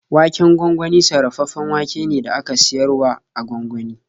Waken gwangwani sarrafaffen wake ne da aka siyar wa a gwangwani.